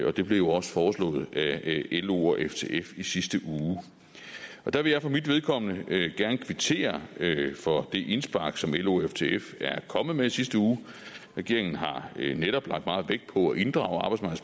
og det blev jo også foreslået af lo og ftf i sidste uge der vil jeg for mit vedkommende gerne kvittere for det indspark som lo og ftf kom med i sidste uge regeringen har netop lagt meget vægt på at inddrage